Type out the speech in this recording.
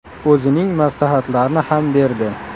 O‘zining maslahatlarini ham berdi.